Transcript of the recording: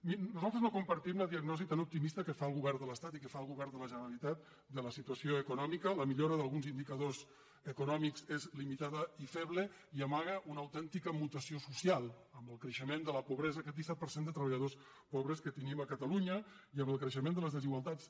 mirin nosaltres no compartim la diagnosi tan opti·mista que fa el govern de l’estat i que fa el govern de la generalitat de la situació econòmica la millo·ra d’alguns indicadors econòmics és limitada i feble i amaga una autèntica mutació social amb el creixe·ment de la pobresa aquest disset per cent de treballadors pobres que tenim a catalunya i amb el creixement de les desigualtats